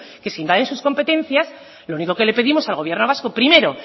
que se invaden sus competencias lo único que le pedimos al gobierno vasco primero